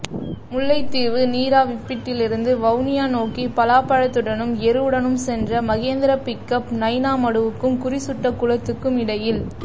முல்லைத்தீவு நீராவிப்பிட்டியிலிருந்து வவுனியா நோக்கி பலாப்பழத்துடனும் எருவுடனும் சென்ற மகேந்திரா பிக்கப் நைனா மடுவுக்கும் குறிசுட்ட குளத்துக்கும் இடையில்